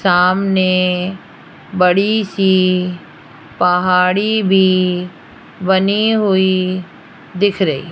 सामने बड़ी सी पहाड़ी भी बनी हुई दिख रही।